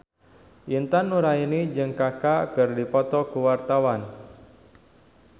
Intan Nuraini jeung Kaka keur dipoto ku wartawan